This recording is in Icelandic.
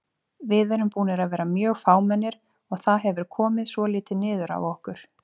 Við erum búnir að vera mjög fámennir og það hefur komið svolítið niður á okkur.